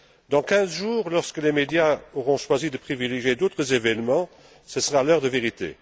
Dans quinze jours, lorsque les médias auront choisi de privilégier d'autres événements, ce sera l'heure de vérité.